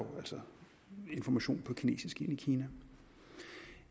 altså information på kinesisk ind i kina